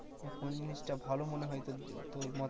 কোন জিনিসটা ভালো মনে হয়েছে তোর মত